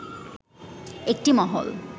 একটি মহল